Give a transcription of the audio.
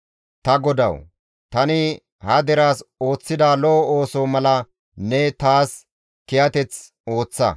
Ta Godawu! Tani ha deraas ooththida lo7o ooso mala ne taas kiyateth ooththa.